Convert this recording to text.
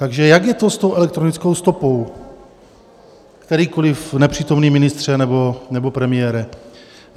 Takže jak je to s tou elektronickou stopou, kterýkoliv nepřítomný ministře nebo premiére?